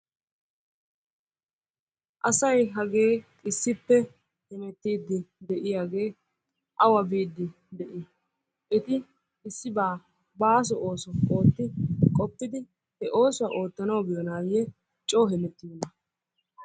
Asay hagee issippe hemettidi de'iyaage awa biidi de'i? Etti issi ba baasso ooso ootti qofiddi he oosuwaa oottanawu biyonaye coo hemettiyonna?